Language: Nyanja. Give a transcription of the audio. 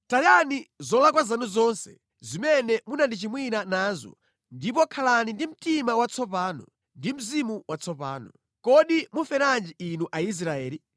Tayani zolakwa zanu zonse zimene munandichimwira nazo ndipo khalani ndi mtima watsopano ndi mzimu watsopano. Kodi muferanji inu Aisraeli?